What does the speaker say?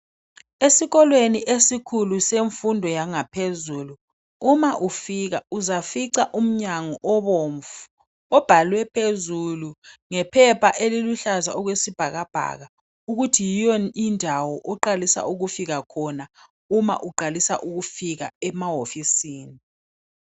Esikolweni esikhulu semfundo yangaphezulu uma ufika uzafica umnyango obomvu obhalwe phezulu ngephepha eliluhlaza okwesibhakabhaka ukuthi yiyo indawo oqalisa ukufika khona uma uqalisa ukufika emahofisini.